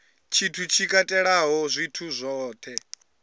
tshithu tshi katelaho zwithu zwohe